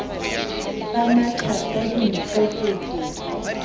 ba matha ka dinkgo ho